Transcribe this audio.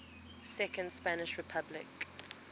second spanish republic